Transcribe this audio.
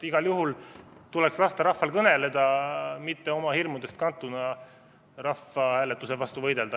Igal juhul tuleks lasta rahval kõneleda, mitte oma hirmudest kantuna rahvahääletuse vastu võidelda.